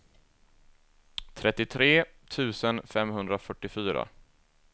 trettiotre tusen femhundrafyrtiofyra